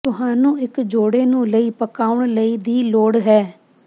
ਤੁਹਾਨੂੰ ਇੱਕ ਜੋੜੇ ਨੂੰ ਲਈ ਪਕਾਉਣ ਲਈ ਦੀ ਲੋੜ ਹੈ